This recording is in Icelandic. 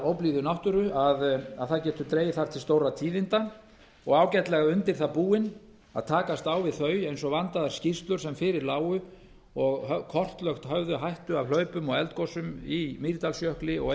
óblíðu náttúru að þar geti dregið til stórra tíðinda og ágætlega undir það búin að takast á við þau eins og vandaðar skýrslur sem fyrir lágu og kortlagt höfðu hættu af hlaupum og eldgosum í mýrdalsjökli og